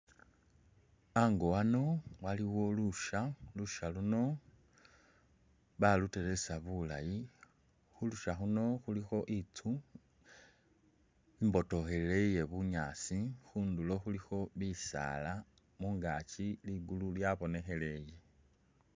Ango ano aliwo lusha, lusha luno baluteresa bulayi , khulusha khuno khulikho istu imbotokhelele iye bunyaasi khunduro khulikho bisala ,mungaki ligulu lwa’bonekheleye.